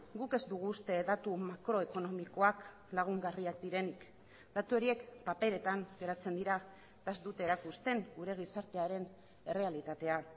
guk ez dugu uste datu makroekonomikoak lagungarriak direnik datu horiek paperetan geratzen dira eta ez dute erakusten gure gizartearen errealitatea